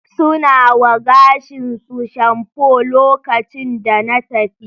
Suna wa gashin su shamfo lokacin da na tafi